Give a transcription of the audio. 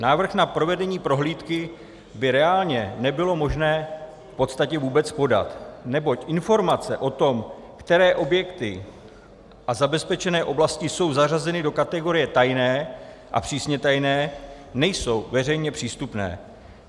Návrh na provedení prohlídky by reálně nebylo možné v podstatě vůbec podat, neboť informace o tom, které objekty a zabezpečené oblasti jsou zařazeny do kategorie tajné a přísně tajné, nejsou veřejně přístupné.